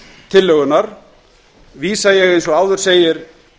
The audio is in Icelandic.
tillögunnar vísa ég eins og áður segir